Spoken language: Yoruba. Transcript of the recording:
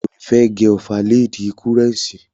O kò ní gẹ ofaléédí furẹ̀ǹṣì.